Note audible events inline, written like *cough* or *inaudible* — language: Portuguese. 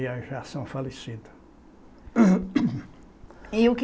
E aí já são falecidos. *coughs* e o que